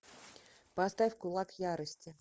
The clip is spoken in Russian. поставь кулак ярости